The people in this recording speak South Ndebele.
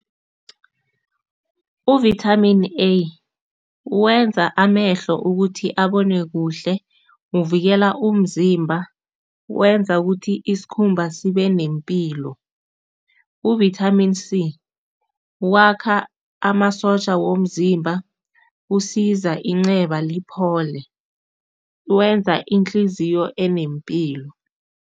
Uvithamini A wenza amehlo ukuthi abone kuhle, uvikela umzimba, wenza ukuthi isikhumba sibe nempilo. Uvithamini C wakha amasotja womzimba, usiza inxeba liphole, wenza inhliziyo enempilo.